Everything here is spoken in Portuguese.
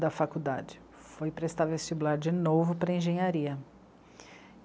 da faculdade, foi prestar vestibular de novo para engenharia.